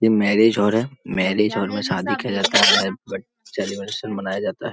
ये marriage hall है। Marriage hall में शादी किया जाता है और सेलिब्रेशन मनाया जाता है।